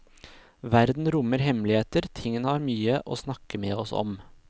Verden rommer hemmeligheter, tingene har mye å snakke med oss om.